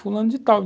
Fulano de tal.